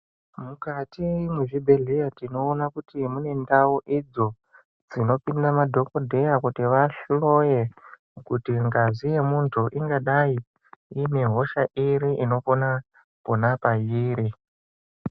Mukati mezvibhedhlera tinoona kuti mune ndau idzo dzinopinda madhokodheya kuti mitomboyo kuti ngazi ine hosha iri inokona pona pairi.